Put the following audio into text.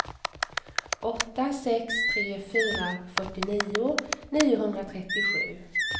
åtta sex tre fyra fyrtionio niohundratrettiosju